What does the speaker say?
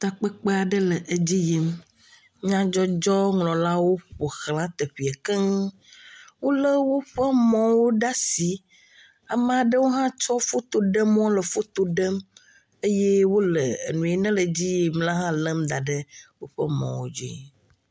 Takpekpe aɖe le edi yim, Nyadzɔdzɔdɔwɔlawo ƒoxla teƒea keŋ. Wole woƒe mɔwo ɖe asi ame aɖewo hã tsɔ woƒe fotoɖemɔwo le foto ɖem eye ɖem eye wole nu si le edzi yim la lém da ɖe woƒe mɔwo dzi.